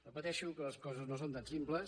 repeteixo que les coses no són tan simples